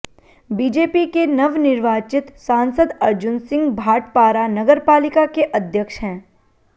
BJP के नवनिर्वाचित सांसद अर्जुन सिंह भाटपारा नगरपालिका के अध्यक्ष हैं